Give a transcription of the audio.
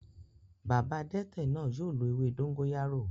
Bàbá adete náà yóò lo ewé dóngóyárò